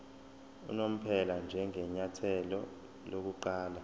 unomphela njengenyathelo lokuqala